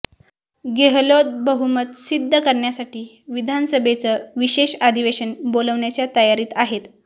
गेहलोत बहुमत सिद्ध करण्यासाठी विधानसभेचं विशेष अधिवेशन बोलावण्याच्या तयारीत आहेत